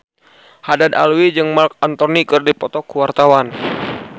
Haddad Alwi jeung Marc Anthony keur dipoto ku wartawan